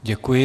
Děkuji.